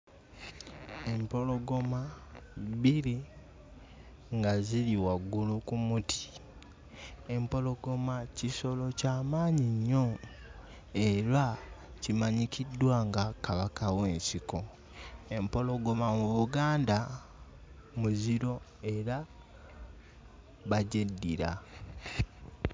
Empologoma bbiri nga ziri waggulu ku muti empologoma kisolo kya maanyi nnyo era kimanyikiddwa nga kabaka w'ensiko. Empologoma mu Buganda muziro era bagyeddira.